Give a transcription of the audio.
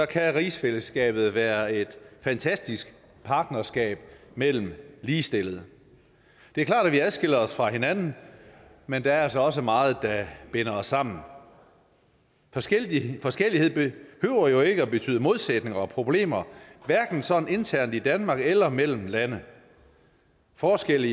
kan rigsfællesskabet være et fantastisk partnerskab mellem ligestillede det er klart at vi adskiller os fra hinanden men der er altså også meget der binder os sammen forskellighed forskellighed behøver jo ikke at betyde modsætninger og problemer hverken sådan internt i danmark eller mellem lande forskelle